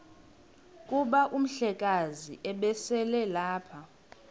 kuba umhlekazi ubeselelapha